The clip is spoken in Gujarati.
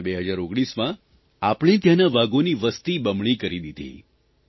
આપણે 2019માં આપણે ત્યાંના વાઘોની વસતિ બમણી કરી દીધી